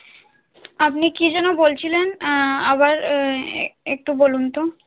আপনি কি যেন বলছিলেন আবার আহ একটু বলুন তো